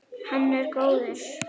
Hann er góður.